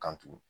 Kan tugun